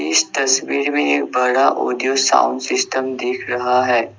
इस तस्वीर में एक बड़ा ऑडियो साउंड सिस्टम दिख रहा है।